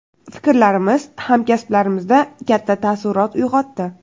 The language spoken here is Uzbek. Fikrlarimiz hamkasblarimizda katta taassurot uyg‘otdi.